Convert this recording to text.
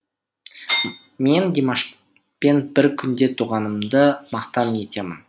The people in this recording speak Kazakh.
мен димашпен бір күнде туғанымды мақтан етемін